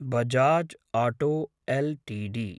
Bajaj auto LTD